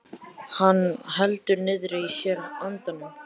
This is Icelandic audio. Hann heldur niðri í sér andanum.